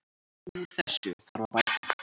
Úr þessu þarf að bæta.